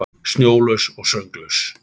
Snjólaus og sönglaus.